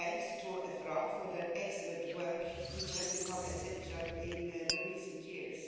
to FRA for their excellent work, which has become essential in recent years.